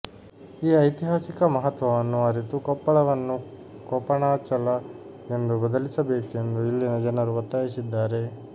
ಈ ಐತಿಹಾಸಿಕ ಮಹತ್ವವನ್ನು ಅರಿತು ಕೊಪ್ಪಳವನ್ನು ಕೊಪಣಾಚಲ ಎಂದು ಬದಲಿಸಬೇಕೆಂದು ಇಲ್ಲಿನ ಜನರು ಒತ್ತಾಯಿಸಿದ್ದಾರೆ